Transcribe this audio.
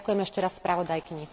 Ďakujem ešte raz spravodajkyni.